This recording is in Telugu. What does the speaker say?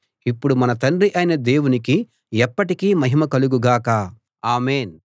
ఇప్పుడు మన తండ్రి అయిన దేవునికి ఎప్పటికీ మహిమ కలుగు గాక ఆమేన్‌